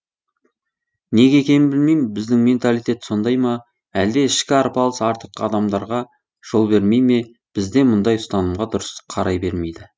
неге екенін білмеймін біздің менталитет сондай ма әлде ішкі арпалыс артық қадамдарға жол бермей ме бізде мұндай ұстанымға дұрыс қарай бермейді